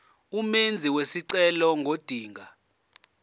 umenzi wesicelo ngodinga